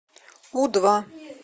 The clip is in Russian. у два